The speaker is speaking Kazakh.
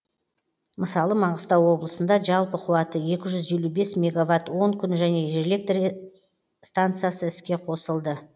мысалы маңғыстау облысында жалпы қуаты екі жүз елу бес меговатт он күн және жел электр станциясы іске қосылды